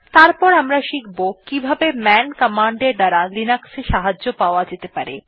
তারপর আমরা শিখব কিভাবে মান কমান্ড এর দ্বারা লিনাক্সে সাহায্য পাওয়া যেতে পারে